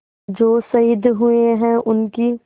जो शहीद हुए हैं उनकी